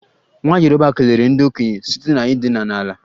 Nwa yoruba kelere ndị okenye site n'ịdina ala